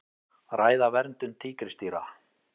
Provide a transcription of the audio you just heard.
Ræða verndun tígrisdýra